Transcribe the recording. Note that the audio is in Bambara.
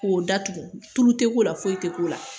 K'o datugu tulu tɛ k'o la foyi tɛ k'o la